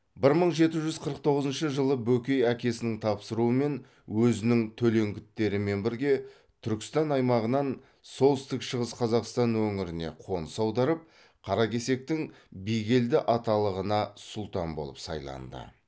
бір мың жеті жүз қырық тоғызыншы жылы бөкей әкесінің тапсыруымен өзінің төлеңгіттерімен бірге түркістан аймағынан солтүстік шығыс қазақстан өңіріне қоныс аударып қаракесектің бигелді аталығына сұлтан болып сайланды